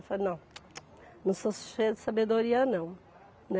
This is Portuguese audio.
Eu falei, não (som linguodental indicando negação) não sou cheia de sabedoria, não.